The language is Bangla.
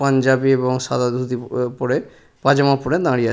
পাঞ্জাবি এবং সাদা ধুতি প পরে পাজামা পরে দাঁড়িয়ে আ--